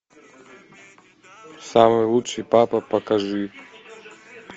самый лучший папа покажи